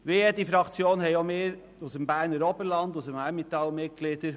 Wie jede Fraktion haben auch wir Mitglieder aus dem Berner Oberland und dem Emmental.